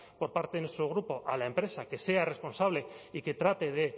por parte de nuestro grupo a la empresa que sea responsable y que trate